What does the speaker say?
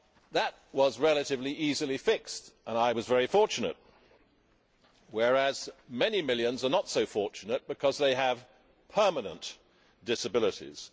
That was relatively easily fixed and I was very fortunate, whereas many millions are not so fortunate because they have permanent disabilities.